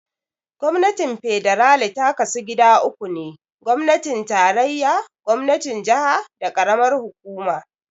Gwamnatin Fedarali ta kasu gida uku ne, gwamnatin tarayya, gwamnatin jaha, da karamar hukuma.